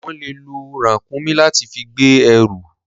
Wọ́n le lo ràkúnmí láti fi gbé ẹrù.